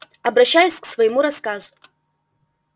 обращаюсь к своему рассказу